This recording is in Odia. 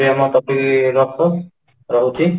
ଏତିକି ରେ ରଖ ରହୁଛି